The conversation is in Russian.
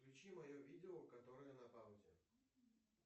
включи мое видео которое на паузе